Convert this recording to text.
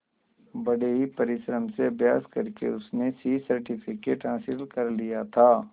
बड़े ही परिश्रम से अभ्यास करके उसने सी सर्टिफिकेट हासिल कर लिया था